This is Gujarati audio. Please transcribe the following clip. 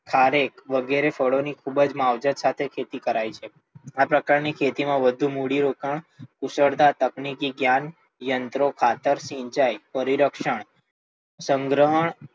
ખારેક વગેરે ફાળો ની ખૂબ જ માવજત સાથે ખેતી કરાય છે, આ પ્રકાર ની ખેતી માં વધુ મૂડી રોકાણ, કુશળતા, તકનીકી જ્ઞાન યંત્રો, સિંચાઈ, પરિરક્ષણ, સંગ્રહણ,